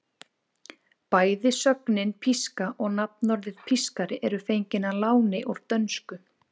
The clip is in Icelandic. Bæði sögnin píska og nafnorðið pískari eru fengin að láni úr dönsku.